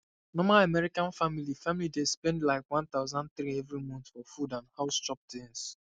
normal american family family dey spend like 1300 every month for food and house chop things